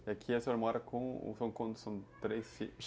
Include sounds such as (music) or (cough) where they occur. E aqui, o senhor mora com, são três (unintelligible)